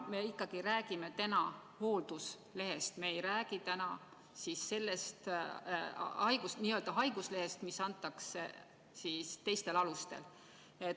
Me räägime täna hoolduslehest, me ei räägi täna n‑ö haiguslehest, mis antakse teistel alustel.